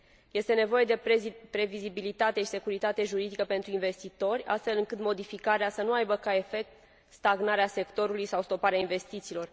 Este nevoie de previzibilitate și securitate juridică pentru investitori, astfel încât modificarea să nu aibă ca efect stagnarea sectorului sau stoparea investițiilor.